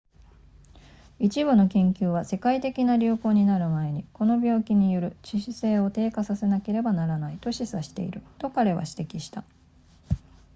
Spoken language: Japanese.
一部の研究は世界的な流行になる前にこの病気による致死性を低下させなければならないと示唆していると彼は指摘した